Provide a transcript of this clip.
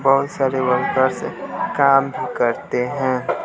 बहुत सारे वर्कर्स काम करते हैं।